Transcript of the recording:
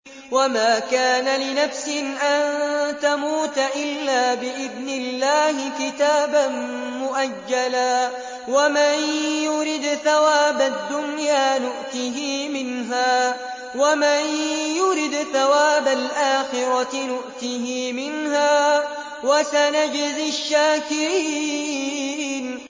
وَمَا كَانَ لِنَفْسٍ أَن تَمُوتَ إِلَّا بِإِذْنِ اللَّهِ كِتَابًا مُّؤَجَّلًا ۗ وَمَن يُرِدْ ثَوَابَ الدُّنْيَا نُؤْتِهِ مِنْهَا وَمَن يُرِدْ ثَوَابَ الْآخِرَةِ نُؤْتِهِ مِنْهَا ۚ وَسَنَجْزِي الشَّاكِرِينَ